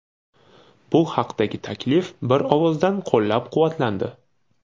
Bu haqdagi taklif bir ovozdan qo‘llab-quvvatlandi.